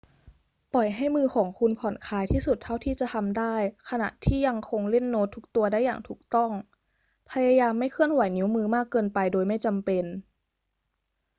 ปล่อยให้มือของคุณผ่อนคลายที่สุดเท่าที่จะทำได้ขณะที่ยังคงเล่นโน้ตทุกตัวได้อย่างถูกต้อง พยายามไม่เคลื่อนไหวนิ้วมือมากเกินไปโดยไม่จำเป็น